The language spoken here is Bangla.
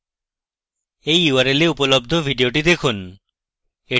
এই url এ উপলব্ধ ভিডিওটি দেখুন: